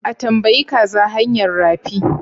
A tambayi kaza hanyar rafi?